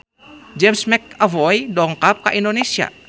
James McAvoy dongkap ka Indonesia